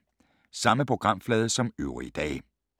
Samme programflade som øvrige dage